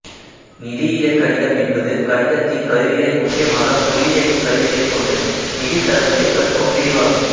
நிதியியல் கணிதம் என்பது கணிதத்தின் கருவிகளை முக்கியமாக புள்ளியியலின் கருவிகளைக் கொண்டு நிதித் தரவுகளை கற்கும் பிரிவாகும்